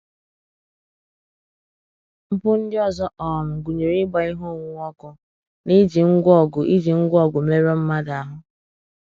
Mpụ ndị ọzọ um gụnyere ịgba ihe onwunwe ọkụ na iji ngwá ọgụ iji ngwá ọgụ merụọ mmadụ ahụ.